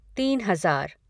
तीन हज़ार